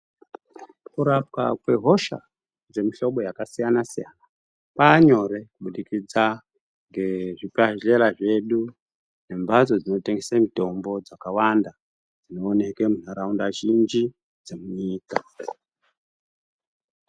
Kurapwa kwehosha dzemuhlobo yakasiyana siyana kwanyore kubudikidza ngezikandlela zvedu nembatso dzinotengesa mutombo dzakawanda dzinoonekwa mundaraunda zhinji dzemunyika.